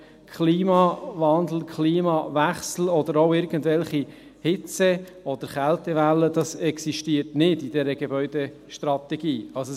Die Worte Klimawandel, Klimawechsel oder auch irgendwelche Hitze- oder Kältewellen existieren in dieser Gebäudestrategie nicht.